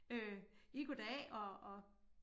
Øh ih goddag og og